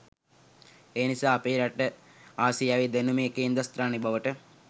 එනිසා අපේ රට ආසියාවේ දැනුමේ කේන්ද්‍රස්ථානය බවට